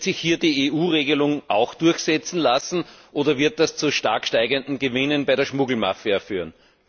Wird sich hier die EU Regelung auch durchsetzen lassen, oder wird das zu stark steigenden Gewinnen bei der Schmuggelmafia führen?